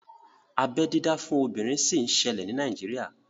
Abeẹ dídá fún obìnrin sì ń ṣẹlẹ̀ ní Nàíjírìà